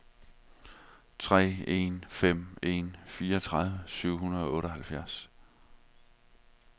tre en fem en fireogtredive syv hundrede og otteoghalvfjerds